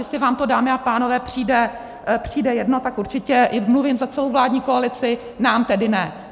Jestli vám to, dámy a pánové, přijde jedno, tak určitě, mluvím za celou vládní koalici, nám tedy ne.